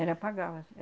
Era pagava,